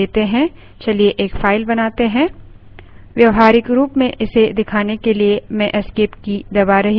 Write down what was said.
व्यावहारिक रूप में इसे दिखाने के लिए मैं esc escape की दबा रही हूँ